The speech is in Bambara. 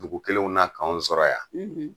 Dugu kelenw na k' anw sɔrɔ yan